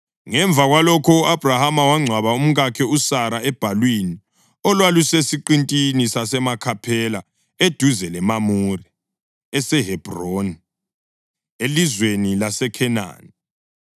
Ngemva kwalokho u-Abhrahama wangcwaba umkakhe uSara ebhalwini olwalusesiqintini saseMakhaphela eduze leMamure (eseHebhroni) elizweni laseKhenani.